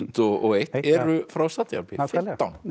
og eitt eru frá Sádi Arabíu nákvæmlega